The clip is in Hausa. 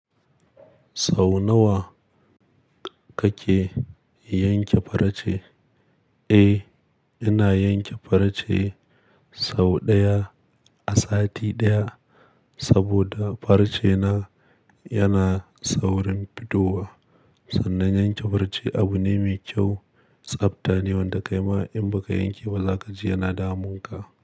Sau nawa kake yanke farce? Eh, ina yanke farce sau ɗaya a sati ɗaya saboda farce na yana saurin fitowa. Sannan yanke farce abu ne mai kyau, tsabta ne wanda kai ma in ba ka yanke ba, zakaji yana damun ka.